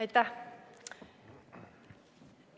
Aitäh!